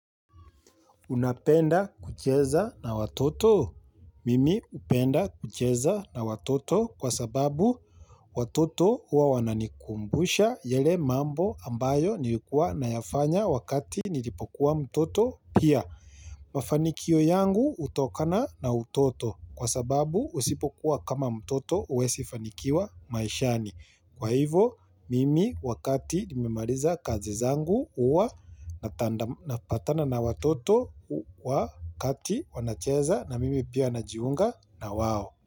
Unapenda kucheza na watoto? Mimi hupenda kucheza na watoto kwa sababu watoto uwa wananikumbusha yale mambo ambayo nilikuwa na yafanya wakati nilipokuwa mtoto pia. Mafanikio yangu hutokana na utoto kwa sababu usipokuwa kama mtoto huwezi fanikiwa maishani. Kwa hivo mimi wakati nimemaliza kazi zangu huwa na patana na watoto wakati wanacheza na mimi pia na jiunga na wao.